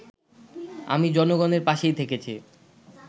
আমি জনগণের পাশেই থেকেছি